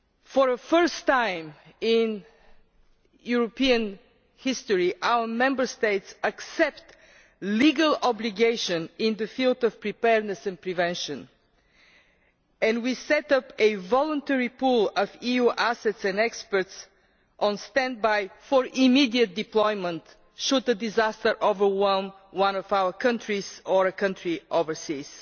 For the first time in European history, our Member States will accept a legal obligation in the field of preparedness and prevention, and we will set up a voluntary pool of EU assets and experts on standby for immediate deployment should a disaster overwhelm one of our countries or a country overseas.